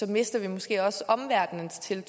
mister vi måske også omverdenens tillid